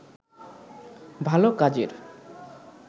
ভাল কাজের